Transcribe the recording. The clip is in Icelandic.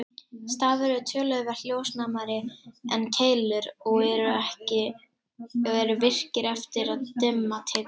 Stafir eru töluvert ljósnæmari en keilur og eru virkir eftir að dimma tekur.